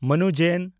ᱢᱟᱱᱩ ᱡᱮᱱ